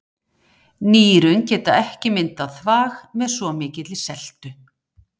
Nýrun geta ekki myndað þvag með svo mikilli seltu.